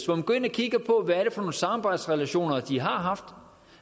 hvor man går ind og kigger på hvad nogle samarbejdsrelationer de har haft